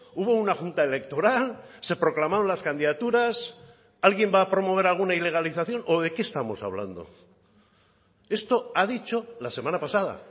hubo una junta electoral se proclamaron las candidaturas alguien va a promover alguna ilegalización o de qué estamos hablando esto ha dicho la semana pasada